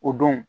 O don